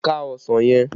Ká ọsàn yẹn!